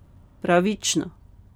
Pravično.